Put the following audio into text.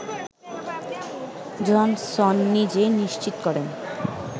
Johansson নিজেই নিশ্চিত করেন